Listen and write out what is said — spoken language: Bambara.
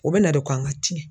O be na de ko an ŋa tiɲɛ.